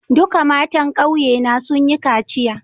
Duka matan ƙauye na sun yi kaciya.